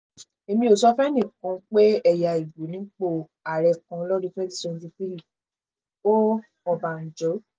èmi ò sọ fẹ́nìkan pé ẹ̀yà igbó nípò ààrẹ kan lọ́dún 2023 o ọbànjọ́